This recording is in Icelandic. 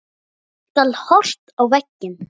Nú skal horft á verkin.